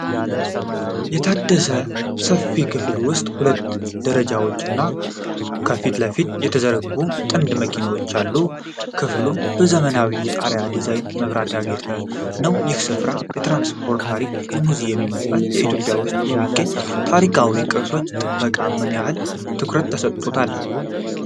የታደሰና ሰፊ ክፍል ውስጥ ሁለት ደረጃዎች እና ከፊት ለፊት የተዘረጉ ጥንታዊ መኪኖች አሉ። ክፍሉ በዘመናዊ የጣሪያ ዲዛይንና መብራት ያጌጠ ነው። ይህ ስፍራ የትራንስፖርት ታሪክ ሙዚየም ይመስላል። በኢትዮጵያ ውስጥ የሚገኙ ታሪካዊ ቅርሶች ጥበቃ ምን ያህል ትኩረት ተሰጥቶታል?